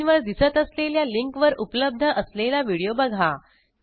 स्क्रीनवर दिसत असलेल्या लिंकवर उपलब्ध असलेला व्हिडिओ बघा